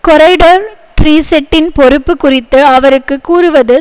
corridor ட்ரீசெட்டின் பொறுப்பு குறித்து அவருக்கு கூறுவது